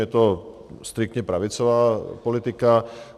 Je to striktně pravicová politika.